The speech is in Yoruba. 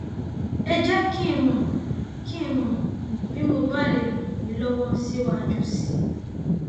ẹ jẹ kí n mọ kí n mọ bí mo bá lè ràn yín lọwọ síwájú sí i